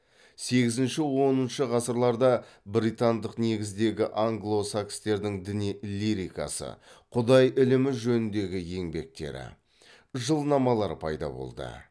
сегізінші оныншы ғасырларда британдық негіздегі англо сакстердің діни лирикасы құдай ілімі жөніндегі еңбектері жылнамалар пайда болды